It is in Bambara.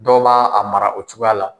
Dɔw b'a a mara o cogoya la.